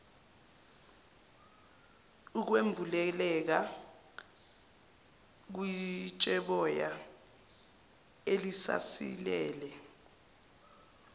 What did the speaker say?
ukwembuleleka kwitsheboya elisasilele